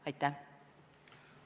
Aitäh!